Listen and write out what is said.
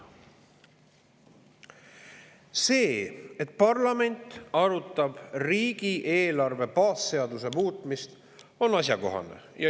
See, et parlament arutab riigieelarve baasseaduse muutmist, on asjakohane.